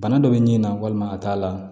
Bana dɔ bɛ nin na walima a ka t'a la